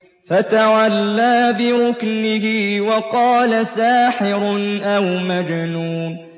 فَتَوَلَّىٰ بِرُكْنِهِ وَقَالَ سَاحِرٌ أَوْ مَجْنُونٌ